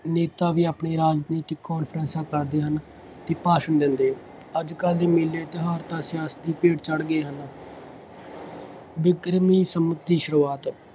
ਨੇਤਾ ਵੀ ਆਪਣੇ ਰਾਜਨੀਤਿਕ ਕਾਨਫਰੰਸ਼ਾਂ ਕਰਦੇ ਹਨ ਅਤੇ ਭਾਸ਼ਣ ਦਿੰਦੇ। ਅੱਜ ਕੱਲ੍ਹ ਦੇ ਮੇਲੇ ਤਿਉਹਾਰ ਤਾਂ ਸਿਆਸਤ ਦੀ ਭੇਡ ਚਾਲ ਚੜ੍ਹ ਗਏ ਹਨ। ਬਿਕਰਮੀ ਸੰਮਤ ਦੀ ਸੁਰੂਆਤ।